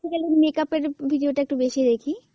basically makeup এর video টা একটু বেশি দেখি।